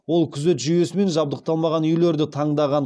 ол күзет жүйесімен жабдықталмаған үйлерді таңдаған